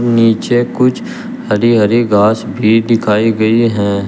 नीचे कुछ हरी हरी घास भी दिखाई गई हैं।